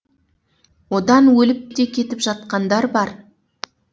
одан өліп те кетіп жатқандар бар